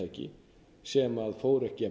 fyrirtæki sem fóru ekki